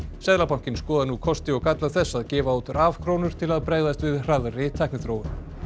seðlabankinn skoðar nú kosti og galla þess að gefa út til að bregðast við hraðri tækniþróun